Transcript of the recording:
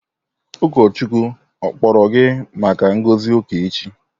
Ụkọchukwu kpọrọ gị maka ngozi uka echi?